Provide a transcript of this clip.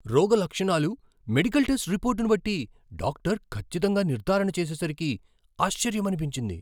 రోగ లక్షణాలు, medical test రిపోర్ట్ను బట్టి డాక్టర్ ఖచ్చితంగా నిర్ధారణ చేసేసరికి ఆశ్చర్యమనిపించింది!